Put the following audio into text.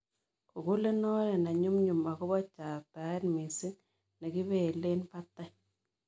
Googulen oret ne nyumnyum ago bo chataet misiing' nekipeelen batai